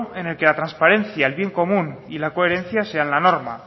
en el que la transparencia el bien común y la coherencia sean la norma